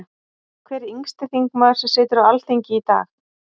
Hver er yngsti þingmaður sem situr á Alþingi í dag?